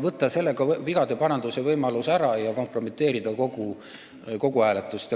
võtta sellega vigade parandamise võimalus ära ja kompromiteerida kogu hääletust.